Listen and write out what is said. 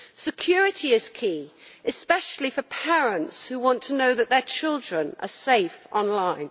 Security is key, especially for parents who want to know that their children are safe online.